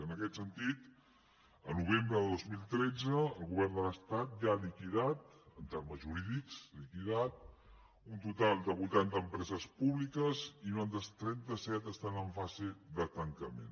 en aquest sentit el novembre de dos mil tretze el govern de l’estat ja ha liquidat en termes jurídics liquidat un total de vuitanta empreses públiques i unes altres trenta set estan en fase de tancament